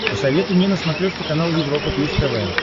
посоветуй мне на смотрешке канал европа плюс тв